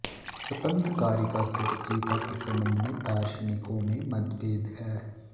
स्पन्दकारिका के रचयिता के संबंध में दार्शनिकों में मतभेद है